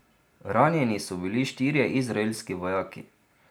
Ranjeni so bili štirje izraelski vojaki.